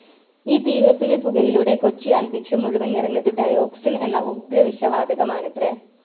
ഈ തീ കത്തിയ പുകയിലൂടെ കൊച്ചി അന്തരീക്ഷം മുഴുവൻ നിറഞ്ഞത് Dioxin എന്ന ഉഗ്ര വിഷ വാതകമാണത്രെ